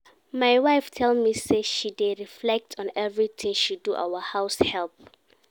My wife tell me say she dey reflect on everything she do our house help